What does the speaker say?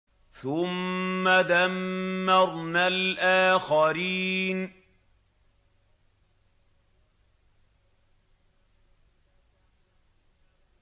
ثُمَّ دَمَّرْنَا الْآخَرِينَ